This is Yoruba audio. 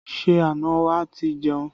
Ṣé àna wa ti jẹun?